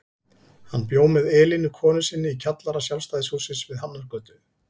Hann bjó með Elínu konu sinni í kjallara Sjálfstæðishússins við Hafnargötu.